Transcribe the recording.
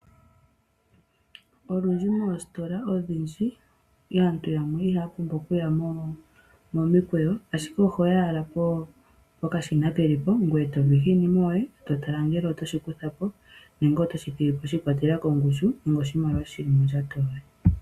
Olundji moostola odhindji aantu yamwe ihaa pumbwa okuya momikweyo, ashike oho yi owala pokashina ke li po ngoye to vihitha iinima yoye, to tala ngele oto shi kutha po nenge oto shi thigi po shi ikwatelela koshimaliwa shi li mondjato yoye.